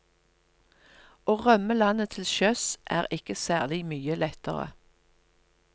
Å rømme landet til sjøs, er ikke særlig mye lettere.